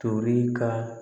Tori ka